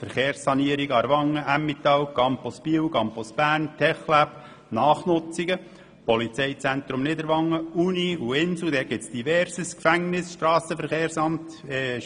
Hinzu kommen die Verkehrssanierungen in Aarwangen und im Emmental, der Campus Biel und der Campus Bern, das TecLab, Nachnutzungen, das Polizeizentrum Niederwangen, die Uni und das Inselspital, Gefängnisse, das Strassenverkehrsamt etc.